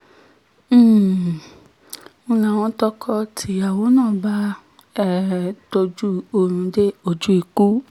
um ń láwọn tọkọ-tìyàwó náà bá um tọ́jú oorun dé ojú ikú